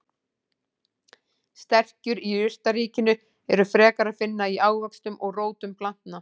Sterkju í jurtaríkinu er frekar að finna í ávöxtum og rótum planta.